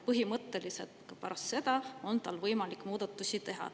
Põhimõtteliselt on ka pärast seda võimalik muudatusi teha.